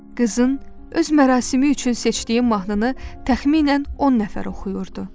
Qızın öz mərasimi üçün seçdiyi mahnını təxminən 10 nəfər oxuyurdu.